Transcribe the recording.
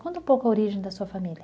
Conta um pouco a origem da sua família.